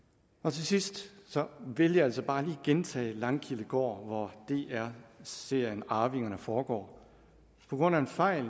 til sidst vil jeg altså bare lige gentage langkildegård hvor dr serien arvingerne foregår på grund af en fejl